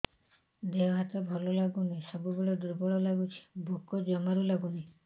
ଦେହ ହାତ ଭଲ ଲାଗୁନି ସବୁବେଳେ ଦୁର୍ବଳ ଲାଗୁଛି ଭୋକ ଜମାରୁ ଲାଗୁନି